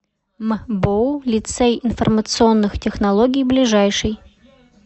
мбоу лицей информационных технологий ближайший